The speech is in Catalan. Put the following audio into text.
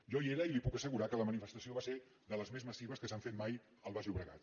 jo hi era i li puc assegurar que la manifestació va ser de les més massives que s’han fet mai al baix llobregat